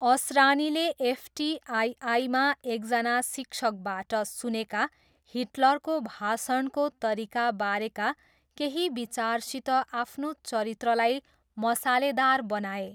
असरानीले एफटिआइआईमा एकजना शिक्षकबाट सुनेका हिटलरको भाषणको तरिका बारेका केही विचारसित आफ्नो चरित्रलाई मसालेदार बनाए।